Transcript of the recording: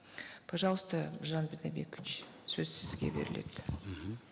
пожалуйста бидайбекович сөз сізге беріледі